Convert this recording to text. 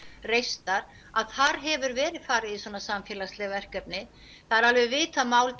reistar að þar hefur verið farið í þessi samfélagsverkefni það er alveg vitað mál